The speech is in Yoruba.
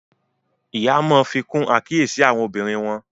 Ìyá Món fikun àkíyèsí àwọn ọmọbìnrin wón.